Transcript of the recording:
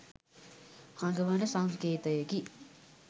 හඟවන සංකේතයකි.